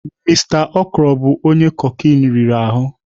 Mister okoro bụ cocaine riri ahụ.